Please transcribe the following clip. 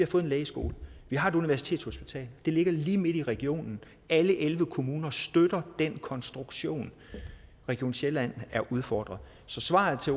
fået en lægeskole vi har et universitetshospital det ligger lige midt i regionen alle elleve kommuner støtter den konstruktion region sjælland er udfordret så svaret til